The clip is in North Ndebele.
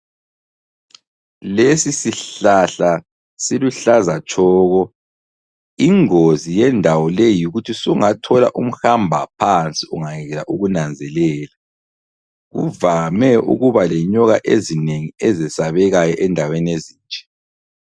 Lesi sihlahla siluhlaza tshoko. Ingozi yendawo leyi yikuthi sungathola umhambaphansi ungayekela ukunanzelela. Kuvame ukuba lenyoka ezinengi ezesabekayo endaweni ezinje.